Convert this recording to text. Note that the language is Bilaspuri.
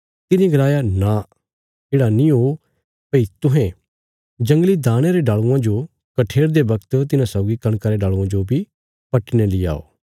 तिने गलाया नां येढ़ा नीं ओ भई तुहें जंगली दाणयां रे डाल़ूआं जो कठेरदे बगत तिन्हां सौगी कणका रे डाल़ूआं जो पट्टीने ली आओ